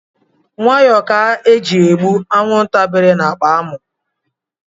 Nwayọ ka eji egbu anwụnta bèlù na akpa amụ.